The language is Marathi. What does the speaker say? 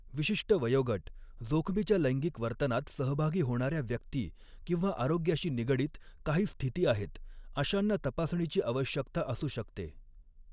विशिष्ट वयोगट, जोखमीच्या लैंगिक वर्तनात सहभागी होणार्या व्यक्ती किंवा आरोग्याशी निगडीत काही स्थिती आहेत अशांना तपासणीची आवश्यकता असू शकते.